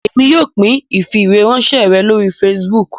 Èmi yóò pín ifiweranṣẹ rẹ lórí facebook